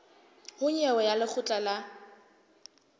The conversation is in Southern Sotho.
ho nyewe ya lekgotla la